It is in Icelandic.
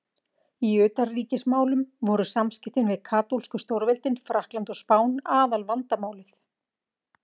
Í utanríkismálum voru samskiptin við katólsku stórveldin Frakkland og Spán aðalvandamálið.